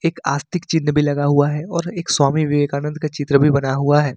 एक आस्तिक चिन्ह भी लगा हुआ है और एक स्वामी विवेकानंद का चित्र भी बना हुआ है।